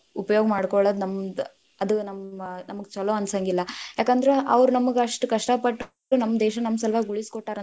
ಉಪಯೋಗ್ ಮಾಡ್ಕೋಳೊದ್‌ ನಮ್ದ್‌ ಅದ ನಮ್‌~ನಮಗ್‌ ಛಲೋ ಅನ್ಸಂಗಿಲ್ಲ, ಯಾಕಂದ್ರ ಅವ್ರ ನಮಗ್‌ ಅಷ್ಟ ಕಷ್ಟ ಪಟ್ಟ ನಮ್ ದೇಶ ನಮ್ ಸಲುವಾಗಿ ಉಳಿಸಕೋಟ್ಟಾರ ಅಂದ್ರ.